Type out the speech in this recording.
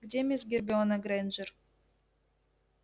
где мисс гермиона грэйнджер